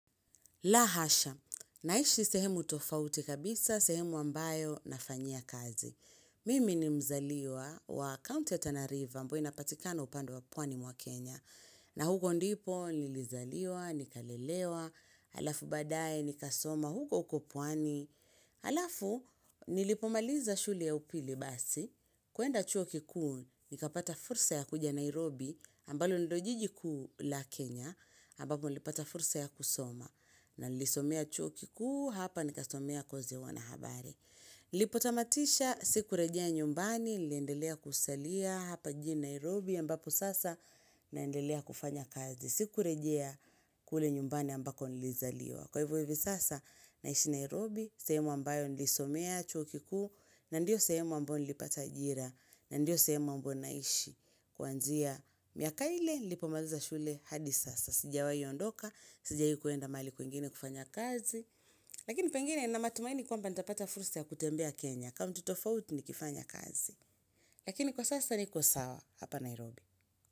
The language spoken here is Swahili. Lahasha, naishi sehemu tofauti kabisa, sehemu ambayo nafanyia kazi. Mimi ni mzaliwa wa kaunti ya Tanariva ambayo inapatikana upande wa pwani mwa Kenya. Na huko ndipo, nilizaliwa, nikalelewa, alafu baadae, nikasoma, huko ukopwani. Alafu, nilipomaliza shule ya upili basi, kuenda chuo kikuu, nikapata fursa ya kuja Nairobi, ambalo ndilojiji kuula Kenya, ambapo nilipata fursa ya kusoma. Na nilisomea chuo kikuu hapa nikasomea kozi ya wanahabari. Lipo tamatisha siku rejea nyumbani, liendelea kusalia hapa jijini Nairobi ambapo sasa naendelea kufanya kazi. Siku rejea kule nyumbani ambako nilizaliwa. Kwa hivyo hivyo sasa naishi Nairobi sehemu ambayo nilisomea chuo kikuu na ndio sehemu ambayo nilipata ajira na ndio sehemu ambayo naishi kuanzia miaka ile lipo maliza shule hadi sasa. Sijawai ondoka, sijai kuenda mahali kwingine kufanya kazi Lakini pengine nina matumaini kwamba nitapata fursa ya kutembea Kenya kaunti tofauti ni kifanya kazi Lakini kwa sasa nikosawa hapa Nairobi.